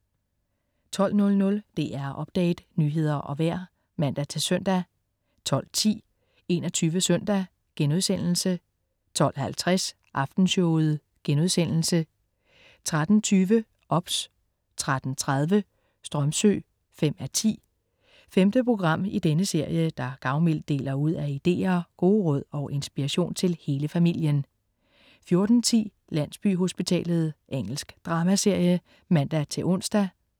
12.00 DR Update. nyheder og vejr (man-søn) 12.10 21 Søndag* 12.50 Aftenshowet* 13.20 OBS 13.30 Strömsö 5:10. Femte program i denne serie, der gavmildt deler ud af ideer, gode råd og inspiration til hele familien 14.10 Landsbyhospitalet. Engelsk dramaserie (man-ons)